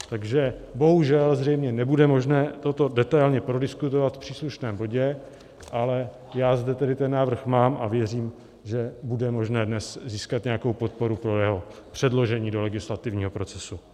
Takže bohužel zřejmě nebude možné toto detailně prodiskutovat v příslušném bodě, ale já zde tedy ten návrh mám a věřím, že bude možné dnes získat nějakou podporu pro jeho předložení do legislativního procesu.